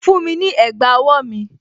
Fún mi ní ẹ̀gbà owó mi!